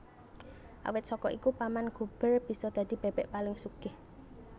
Awit saka iku Paman Gober bisa dadi bebek paling sugih